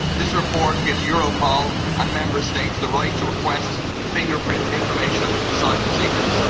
This report gives Europol and Member States the right to request the fingerprint information of asylum seekers.